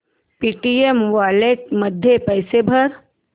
Paytm wallet मध्ये पैसे भर